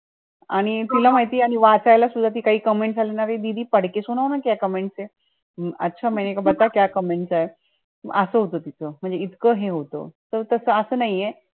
आणि तुला माहितीये आणि वाचायला सुद्धा ती काही comments असा होतं तिचं म्हणजे इतकं हे होतं, ते कसं असं नाहीये